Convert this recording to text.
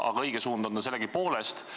Aga õige suund on ta nii või teisiti.